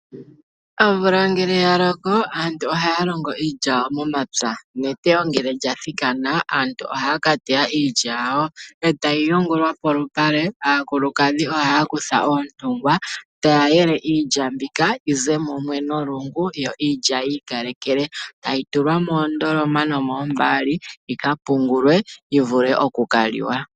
Omvula ngele yaloko aantu ohaya longo iilya momapya, neteyo ngele lyathikana aantu ohaya ka teya iilya yawo eeta yi yungulwa polupale. Aakulukadhi ohaya kutha oontungwa taya yele iilya mbika yize mumwe nolungu yo iilya yivule okwikalekela opo yitulwe moondoloma nomoombali yika pungulwe opo yi vule okukaliwa.